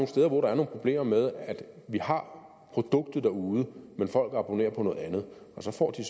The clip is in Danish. steder hvor der er nogle problemer med at vi har produktet derude men at folk abonnerer på noget andet og så får de